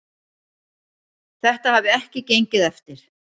Þetta hafi ekki gengið eftir.